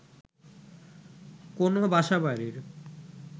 কোনো বাসা বাড়ির